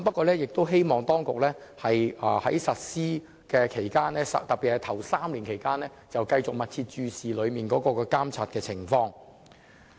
然而，我希望當局在實施期間，特別是在首3年，要繼續密切注視和監察有關情況。